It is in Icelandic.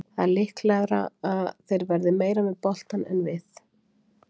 Það er líklegra að þeir verði meira með boltann en við.